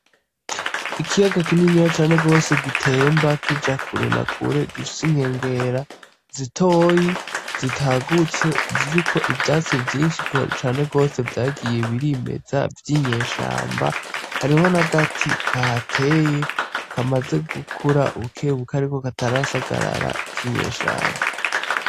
Ikiyaga kininya cane gwose gitemba kija kure na kure gifise inkengera zitoyi zitagutse ziriko ivyatsi vyinshi cane gwose vyagiye birimeza vy'inyeshamba hariho n'agati kahateye kamaze gukura bukebuke ariko katarasagarara k'inyeshamba.